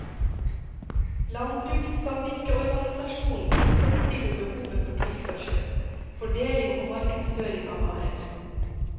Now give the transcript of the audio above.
Landbrukssamvirkeorganisasjonen tilfredsstiller behovet for tilførsel, foredling og markedsføring av varer.